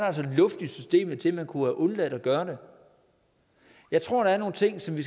altså luft i systemet til at man kunne have undladt at gøre det jeg tror der er nogle ting som vi